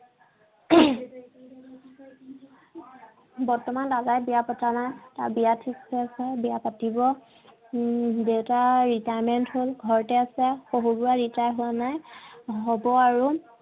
বৰ্তমান দাদাই বিয়া পতা নাই। তাৰ বিয়া ঠিক হৈ আছে। বিয়া পাতিব। উম দেউতা retirement হল ঘৰতে আছে। শশু বুঢ়া retire হোৱা নাই। হব আৰু।